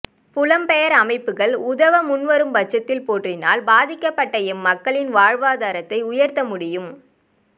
புலம்பெயர் அமைப்புக்கள் உதவ முன்வரும் பட்சத்தில் போற்றினால் பாதிக்கப்பட்ட எம்மக்களின் வாழ்வாதாரத்தை உயர்த்தமுடியும்